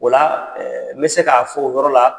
Ola n bɛ se k'a fɔ o yɔrɔ la.